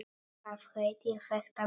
Hvað heitir þetta blóm?